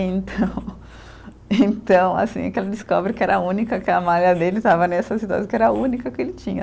Então, então assim, que ela descobre que era a única que a malha dele estava nessa situação, que era a única que ele tinha.